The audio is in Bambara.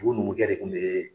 O numukɛ de kun bee